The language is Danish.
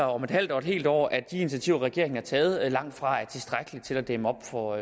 om et halvt eller et helt år at de initiativer regeringen har taget langt fra er tilstrækkelige til at dæmme op for